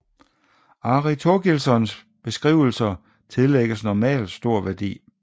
Ari Thorgilssons beskrivelser tillægges normalt stor værdi